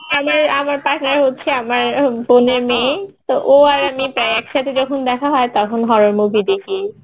আমার partner হচ্ছে আমার বোনের মেয়ে তো ও আর আমি প্রায় একসাথে যখন দেখা হয় তখন horror movie দেখি